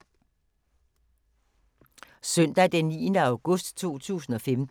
Søndag d. 9. august 2015